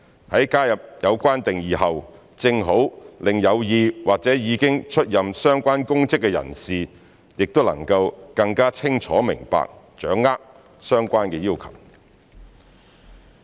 在加入有關定義後，正好讓有意或已經出任相關公職的人士也能更加清楚明白、掌握相關要求。